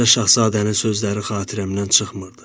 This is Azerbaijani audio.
Balaca şahzadənin sözləri xatirəmdən çıxmırdı.